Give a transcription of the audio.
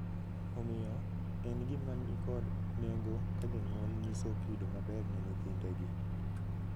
Omiyo, en gima ni kod nengo ka jonyuol nyiso kido maber ne nyithindegi.